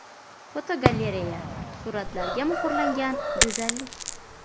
Fotogalereya: Suratlarga muhrlangan go‘zallik.